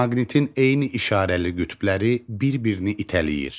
Maqnitin eyni işarəli qütbləri bir-birini itələyir.